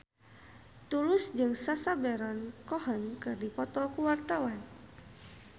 Tulus jeung Sacha Baron Cohen keur dipoto ku wartawan